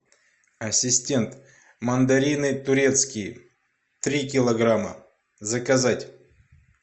ассистент мандарины турецкие три килограмма заказать